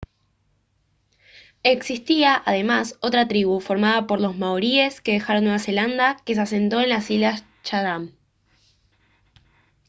existía además otra tribu formada por los maoríes que dejaron nueva zelanda que se asentó en las islas chatham